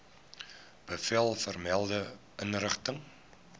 bevel vermelde inrigting